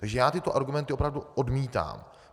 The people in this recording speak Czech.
Takže já tyto argumenty opravdu odmítám.